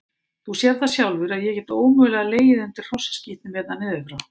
Þú sérð það sjálfur að ég get ómögulega legið undir hrossaskítnum hérna niður frá.